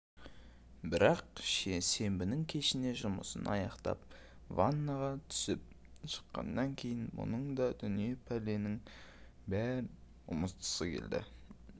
бірақ сенбінің кешіне жұмысын аяқтап ваннаға түсіп шыққаннан кейін мұның да дүние пәленің бәрін ұмытқысы келді